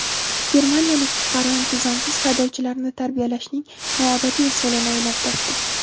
Germaniyalik fuqaro intizomsiz haydovchilarni tarbiyalashning noodatiy usulini o‘ylab topdi.